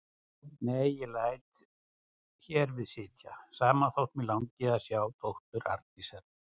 Nei, ég læt hér við sitja, sama þótt mig langi að sjá dóttur Arndísar.